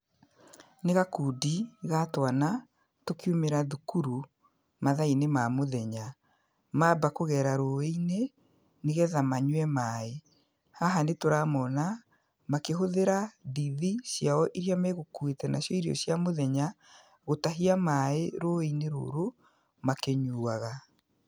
Nĩ gakundi ga twana tũkiumĩra thukuru mathaa-inĩ ma mũthenya, mamba kũgera rũũĩ-inĩ, nĩgetha manyue maaĩ. Haha nĩtũramona makĩhũthĩra ndithi ciao iria megũkuĩte nacio irio cia mũthenya, gũtahia maaĩ rũũĩ-inĩ rũrũ makĩnyuaga.